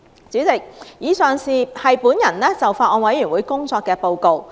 主席，以上是我就法案委員會工作的報告。